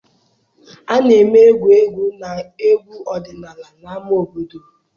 A na-eme egwu egwu na egwu ọdịnala na ámá obodo.